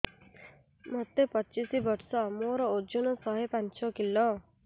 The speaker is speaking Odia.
ମୋତେ ପଚିଶି ବର୍ଷ ମୋର ଓଜନ ଶହେ ପାଞ୍ଚ କିଲୋ